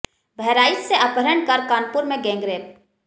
बहराइच से अपहरण कर कानपुर में किया गैंगरेप